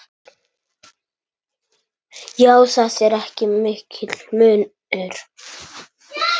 Já, það er mikill munur.